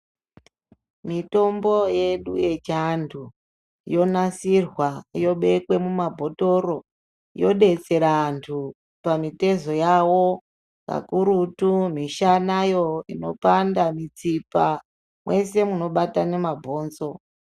Miyombo yedu yechiantu yonasirwa yobekwe mumabotoro yodetsera antu pamutezo yawo akurutu mushanayo inopanda mutsipa mwese munobatane mabhonzo.